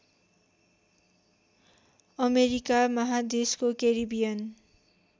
America महादेशको Caribbean